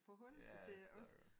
Ja ja det forstår jeg godt